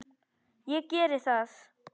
Ég geri það